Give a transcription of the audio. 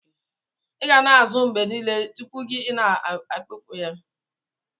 iga na asa azu gi mgbe nile tupu ina amikpo ya.